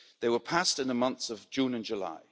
They were passed in the months of June and July.